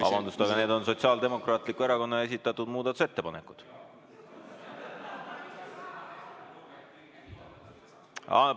Vabandust, aga need on Sotsiaaldemokraatliku Erakonna esitatud muudatusettepanekud.